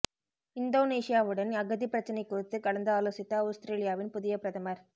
இந்தோனேசியாவுடன் அகதிப் பிரச்சினை குறித்து கலந்து ஆலோசித்த அவுஸ்திரேலியாவின் புதிய பிரதமர்